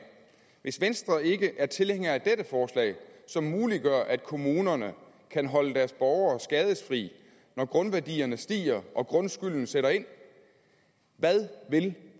hvis venstre ikke er tilhænger af dette forslag som muliggør at kommunerne kan holde deres borgere skadesfri når grundværdierne stiger og grundskylden sætter ind hvad vil